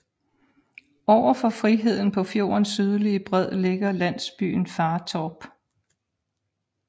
Overfor Friheden på fjordens sydlige bred ligger landsbyen Fartorp